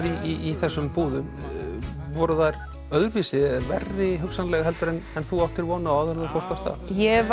í þessum búðum voru þær öðruvísi verri hugsanlega en en þú áttir von á áður en þú fórst af stað ég